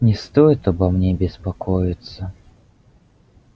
не стоит обо мне беспокоиться